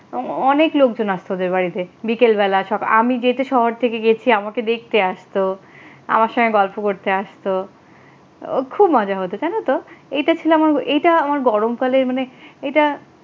অনেক লোকজন আছে তোদের বাড়িতে বিকালবেলা সকা আমি যেহেতু শহর থেকে গেছি আমাকে দেখতে আসতো আমার সাথে গল্প করতে আসত মজা হত জানো তো এটা ছিল আমার এটা আমার গরম কালের মানে এটা,